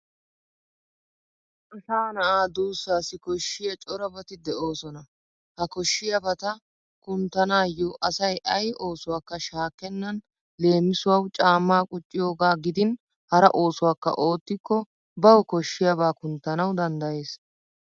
Asa na'a duussaassi koshshiya corabati de'oosona. He koshshiyabata kunttanaayyo asayi ayi oosuwakka shaakkennan leemisuwawu caammaa qucciyogaa gidin hara oosuwakka oottikko bawu koshshiyaabaa kunttanawu danddayes